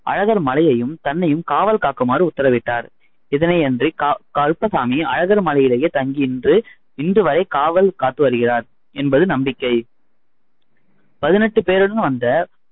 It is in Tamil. அழகர் மலையையும், தன்னையும் காவல் காக்குமாறு உத்தரவிட்டார். இதனை அன்று கருப்பசாமி அழகர் மலையிலேயே தங்கி இன்று இன்று வரை காவல் காத்து வருகிறார் என்பது நம்பிக்கை. பதினெட்டு பேருடன் வந்த